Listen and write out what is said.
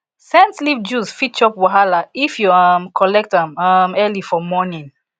scent leaf juice fit chop wahala if you um collect am um early for morning